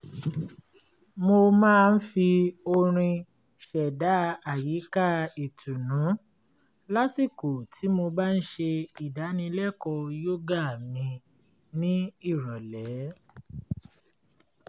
mo máa ń fi orin ṣèdá àyìká ìtùnnú lásìkò tí mo bá ń ṣe ìdánilẹ́kọ̀ọ́ yógà mi ní ìrọ̀lẹ́